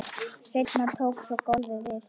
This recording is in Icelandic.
Seinna tók svo golfið við.